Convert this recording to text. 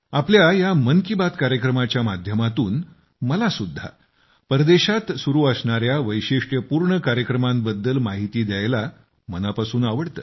आपल्या या मन की बात कार्यक्रमाच्या माध्यमातून मलासुद्धा परदेशात सुरू असणाऱ्या वैशिष्ट्यपूर्ण कार्यक्रमाबद्दल माहिती द्यायला मनापासून आवडते